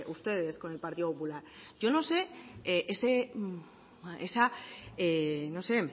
ustedes con el partido popular yo no sé esa no sé